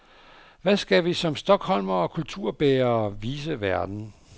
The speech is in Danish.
Hvad skal vi som stockholmere og kulturbærere vise verden?